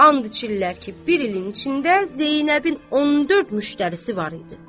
And içirlər ki, bir ilin içində Zeynəbin 14 müştərisi var idi.